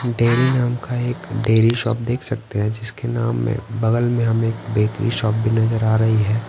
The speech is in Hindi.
डेयरी नाम का एक डेयरी शॉप देख सकते हैं जिसके नाम में बगल में हमें एक बेकरी शॉप भी नजर आ रही है।